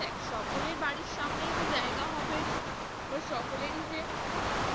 দেখ সকলের বাড়ির সামনেই যে জায়গা হবে বা সকলেরই যে